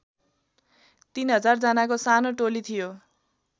३००० जानाको सानो टोली थियो